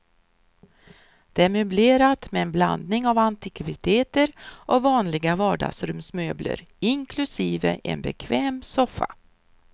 Det är möblerat med en blandning av antikviteter och vanliga vardagsrumsmöbler, inklusive en bekväm soffa.